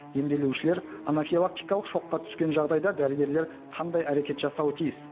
емделушілер анафилактикалық шокқа түскен жағдайда дәрігерлер қандай әрекет жасауы тиіс